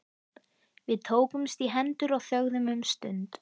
Við tókumst í hendur og þögðum um stund.